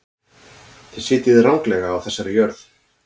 Þið sitjið ranglega þessa jörð.